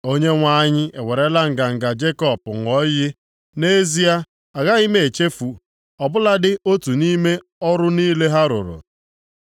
Onyenwe anyị ewerela nganga Jekọb ṅụọ iyi, “Nʼezie, agaghị m echefu, ọ bụladị otu nʼime ọrụ niile ha rụrụ.”